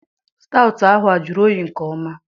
Staụtụ ahụ a jụrụ oyi nke ọma?